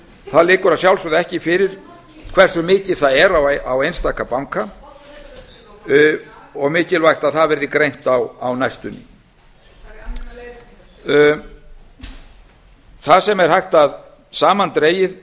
það liggur að sjálfsögðu ekki fyrir hversu mikið það er á einstaka banka og mikilvægt að það verði greint á næstunni fara í annan leiðangur það sem er hægt að samandregið